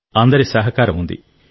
అందరి సహకారం ఉంది